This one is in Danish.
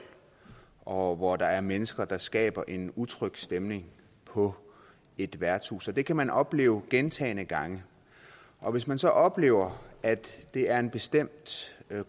og hvor der er mennesker der skaber en utryg stemning på et værtshus det kan man opleve gentagne gange og hvis man så oplever at det er en bestemt